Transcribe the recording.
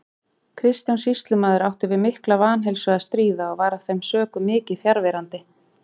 Kristján sýslumaður átti við mikla vanheilsu að stríða og var af þeim sökum mikið fjarverandi.